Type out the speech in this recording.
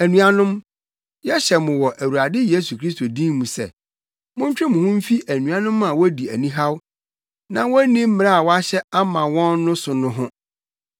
Anuanom, yɛhyɛ mo wɔ Awurade Yesu Kristo din mu sɛ, montwe mo ho mfi anuanom a wodi anihaw na wonni mmara a wɔahyɛ ama wɔn no so no ho.